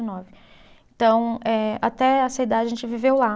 Nove. Então eh, até essa idade a gente viveu lá.